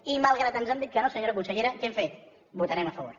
i malgrat que ens han dit que no senyora consellera què hem fet votarem a favor